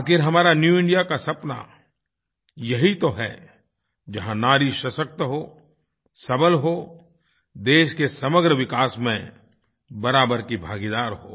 आख़िर हमारा new India का सपना यही तो है जहाँ नारी सशक्त हो सबल हो देश के समग्र विकास में बराबर की भागीदार हो